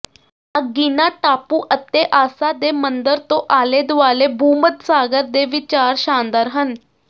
Aegina ਟਾਪੂ ਅਤੇ ਆਸਾ ਦੇ ਮੰਦਰ ਤੋਂ ਆਲੇ ਦੁਆਲੇ ਭੂਮੱਧ ਸਾਗਰ ਦੇ ਵਿਚਾਰ ਸ਼ਾਨਦਾਰ ਹਨ